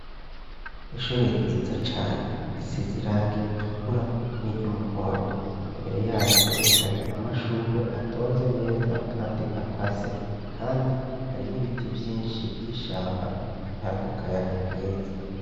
Ishure ryiza cane risize irangi ritukura n'iry'umuhondo, imbere yaryo hari amashurwe atonze neza kandi akase. Kandi hari n'ibiti vyinshi vy'ishamba bitanga akayaga keza.